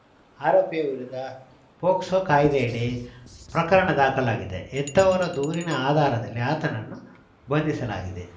ಆರೋಪಿಯ ವಿರುದ್ಧ ಪೊಕ್ಸೊ ಕಾಯ್ದೆಯಡಿ ಪ್ರಕರಣ ದಾಖಲಾಗಿದೆ ಹೆತ್ತವರ ದೂರಿನ ಆಧಾರದಲ್ಲಿ ಆತನನ್ನು ಬಂಧಿಸಲಾಗಿದೆ